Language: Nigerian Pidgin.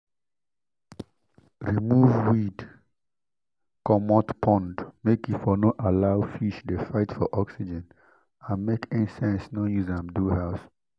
remove weeed comot pond make e for no allow fish de fight for oxygen and make insects no use am do house